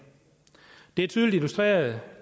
det er tydeligt illustreret